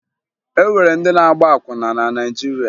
E nwere ndị na-agba akwụna na Naịjirịa